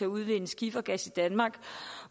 udvinde skifergas i danmark